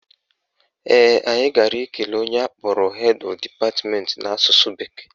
Ee, anyị gara ikele onye akpọrọ Head Of Department n'asụsụ bekee